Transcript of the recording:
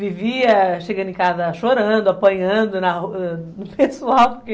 Vivia chegando em casa chorando, apanhando do pessoal, porque...